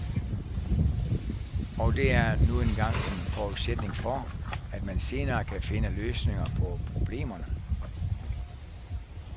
Og det er nu engang en forudsætning for, at man senere kan finde løsninger på problemerne.